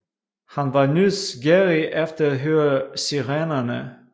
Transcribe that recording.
Han var nysgerrig efter at høre Sirenerne